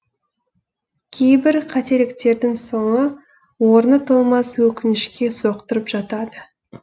кейбір қателіктердің соңы орны толмас өкінішке соқтырып жатады